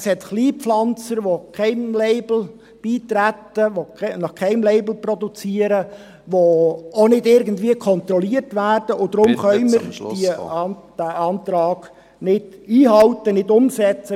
Es hat Kleinpflanzer, welche keinem Label beitreten, nach keinem Label produzieren, welche auch nicht irgendwie kontrolliert werden, und deshalb …… können wir diesen Antrag nicht einhalten, nicht umsetzen.